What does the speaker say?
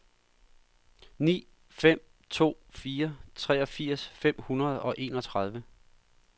ni fem to fire treogfirs fem hundrede og enogtredive